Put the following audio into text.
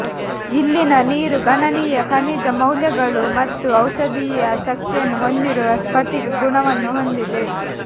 ಇಲ್ಲಿನ ನೀರು ಗಣನೀಯ ಖನಿಜ ಮೌಲ್ಯಗಳು ಮತ್ತು ಔಷಧೀಯ ಶಕ್ತಿಯನ್ನು ಹೊಂದಿರುವ ಸ್ಫಟಿಕ ಗುಣವನ್ನು ಹೊಂದಿದೆ